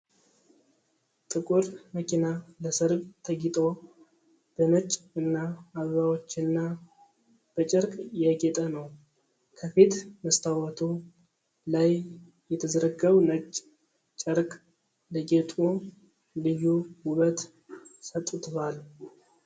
ጥቁር መኪና ለሠርግ ተጊጦ በነጭ እና አበባዎችና በጨርቅ ያጌጠ ነው። ከፊት መስታወቱ ላይ የተዘረጋው ነጭ ጨርቅ ለጌጡ ልዩ ውበት ሰጥቷል።